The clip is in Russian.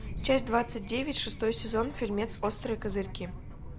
часть двадцать девять шестой сезон фильмец острые козырьки